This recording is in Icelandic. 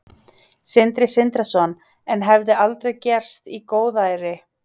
Sindri Sindrason: En hefði aldrei gerst í góðæri?